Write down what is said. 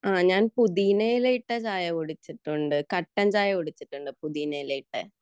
ആഹ് ഞാൻ പുതിയിനയില ഇട്ട ചായ കുടിച്ചിട്ടുണ്ട് കട്ടൻ ചായ കുടിച്ചിട്ടുണ്ട് പുതിയനയില ഇട്ട്